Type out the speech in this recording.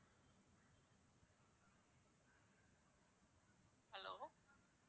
hello